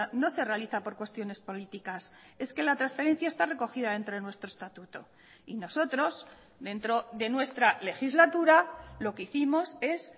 no se realiza por cuestiones políticas es que la transferencia está recogida dentro de nuestro estatuto y nosotros dentro de nuestra legislatura lo que hicimos es